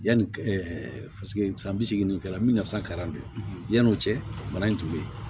Yanni paseke san bi segin kɛ la min ɲasaka don yan'o cɛ bana in tun bɛ yen